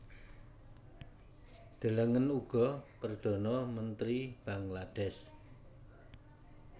Delengen uga Perdhana Mentri Bangladesh